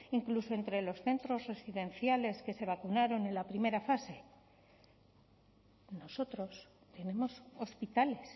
incluso entre los centros residenciales que se vacunaron en la primera fase nosotros tenemos hospitales